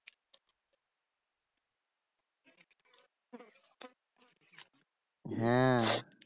হ্যাঁ